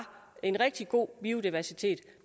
en rigtig god biodiversitet